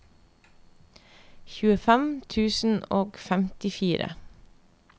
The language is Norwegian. tjuefem tusen og femtifire